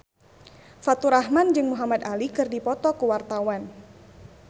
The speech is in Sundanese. Faturrahman jeung Muhamad Ali keur dipoto ku wartawan